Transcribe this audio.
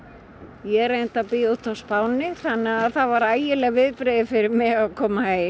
ég reyndar bý úti á Spáni þannig að það voru ægileg viðbrigði fyrir mig að koma heim